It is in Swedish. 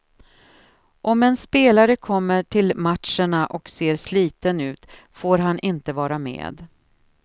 Om en spelare kommer till matcherna och ser sliten ut får han inte vara med.